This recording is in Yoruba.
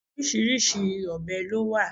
Oríṣiríṣi obè lo wa